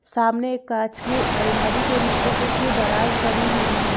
सामने कांच की अलमारी के नीचे कुछ दराज बनी हुई है।